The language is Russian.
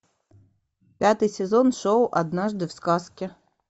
пятый сезон шоу однажды в сказке